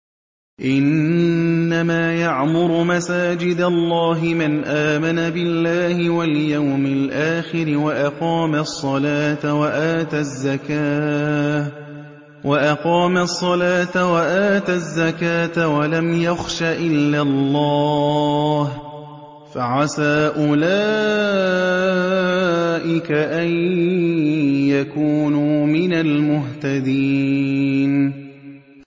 إِنَّمَا يَعْمُرُ مَسَاجِدَ اللَّهِ مَنْ آمَنَ بِاللَّهِ وَالْيَوْمِ الْآخِرِ وَأَقَامَ الصَّلَاةَ وَآتَى الزَّكَاةَ وَلَمْ يَخْشَ إِلَّا اللَّهَ ۖ فَعَسَىٰ أُولَٰئِكَ أَن يَكُونُوا مِنَ الْمُهْتَدِينَ